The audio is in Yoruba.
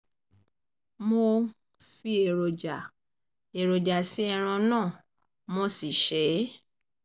mo um fi èròjà èròjà sí ẹran náà mo si sè é